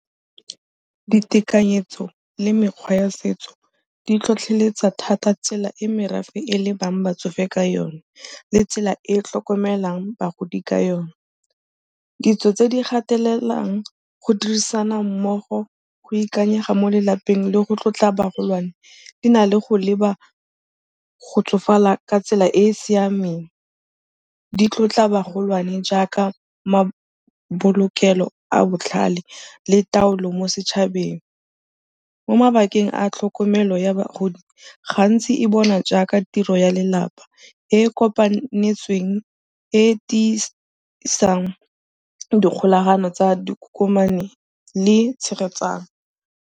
Ditekanyetso le mekgwa ya setso di tlhotlheletsa thata tsela e merafe e lebang batsofe ka yone le tsela e e tlhokomelang bagodi ka yone. Ditso tse di gatelelang go dirisana mmogo, go ikanyega mo lelapeng le go tlotla bagolwane di na le go leba go tsofala ka tsela e e siameng, di tlotla magolwane jaaka mabolokelo a botlhale le taolo mo setšhabeng. Mo mabakeng a tlhokomelo ya bagodi, ga ntsi e bonwa jaaka tiro ya lelapa e e kopanetsweng, e e tiisang dikgolagano tsa dikokomane le tshegetsano.